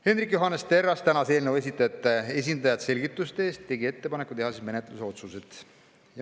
Hendrik Johannes Terras tänas eelnõu esitajate esindajat selgituste eest ja tegi ettepaneku teha menetlusotsused.